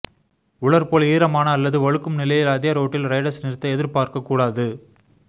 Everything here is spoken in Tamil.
உலர் போல் ஈரமான அல்லது வழுக்கும் நிலையில் அதே ரோட்டில் ரைடர்ஸ் நிறுத்த எதிர்பார்க்க கூடாது